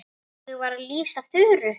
Ég var að lýsa Þuru.